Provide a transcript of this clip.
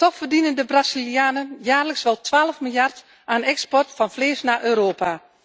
Toch verdienen de Brazilianen jaarlijks wel 12 miljard aan de export van vlees naar Europa.